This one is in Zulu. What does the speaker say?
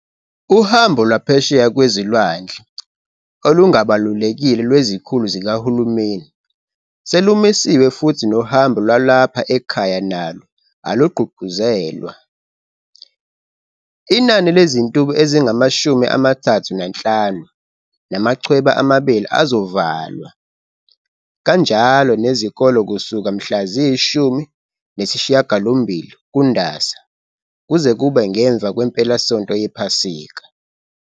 Uhambo lwaphesheya kwezilwandle olungabalulekile lwezikhulu zikahulumeni selumisiwe futhi nohambo lwalapha ekhaya nalo alugqugquzelwa. Inani lezintuba ezingama-35 namachweba amabili azovalwa, kanjalo nezikole kusuka mhla ziyi-18 kuNdasa kuze kube ngemva kwempelasonto yePhasika.